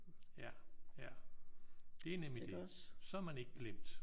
Ja. Ja. Det er nemlig det. Så er man ikke glemt